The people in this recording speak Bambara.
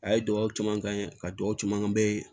A ye dugawu caman kɛ ka dɔgɔ camanbɛ